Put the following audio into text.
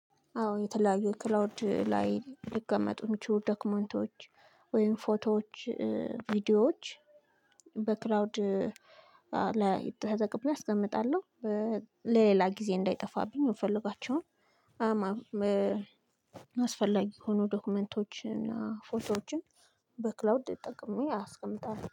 አዎ የተለያዩ ክላውድ ላይ ሊቀመጡ የሚችሉ ዶክመንቶች ወይም ፎቶዎች ቪዲዮዎች በክራውድ ላይ ተጠቅሜ አስቀምጣለሁ። ለሌላ ጊዜ እንዳይጠፋብኝ የምፈልጋቸውን። አስፈላጊ ሆኖ ዶክመንቶችን እና ፎቶዎችን በክላውድ ጠቅሜ አስቀምጣለሁ